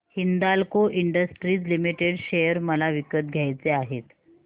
Hindalco industries limited share मला विकत घ्यायचे आहेत